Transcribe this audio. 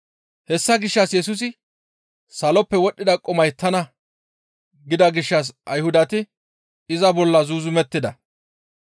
Hessa gishshas Yesusi, «Saloppe wodhdhida qumay tana» gida gishshas Ayhudati iza bolla zuuzumettida.